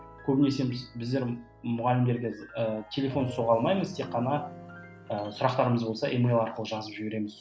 көбінесе біз біздер мұғалімдерге ііі телефон соға алмаймыз тек қана ііі сұрақтарымыз болса емайл арқылы жазып жібереміз